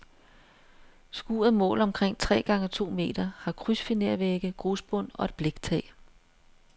Skuret måler omkring tre gange to meter, har krydsfinervægge, grusbund og et bliktag.